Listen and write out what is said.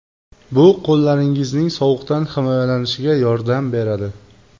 Bu qo‘llaringizning sovuqdan himoyalanishiga yordam beradi.